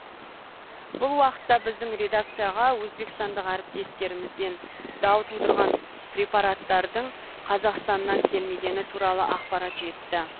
бұл уақытта біздің редакцияға өзбекстандық әріптестерімізден дау тудырған препараттардың қазақстаннан келмегені туралы ақпарат жетті